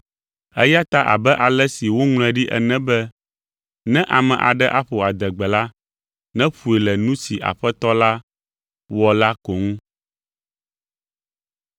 Eya ta abe ale si woŋlɔe ɖi ene be, “Ne ame aɖe aƒo adegbe la, nèƒoe le nu si Aƒetɔ la wɔ la ko ŋu.”